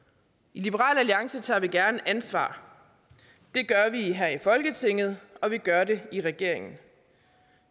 i liberal alliance tager vi gerne ansvar det gør vi her i folketinget og vi gør det i regeringen